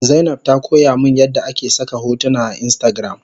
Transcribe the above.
Zainab ta koyamin yadda ake saka hotuna a instagram